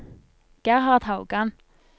Gerhard Haugan